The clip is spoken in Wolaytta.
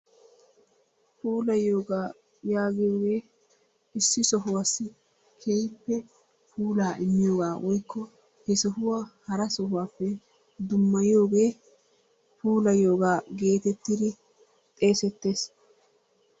Puulayiyoogaa yaagiyoogee issi sohuwaasi keehippe puulaa immiyoogaa woykko he sohuwa hara sohuwappe dummayiyoogee puulayiyoogaa geetettidi xeesettees.